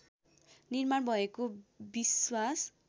निर्माण भएको विश्वास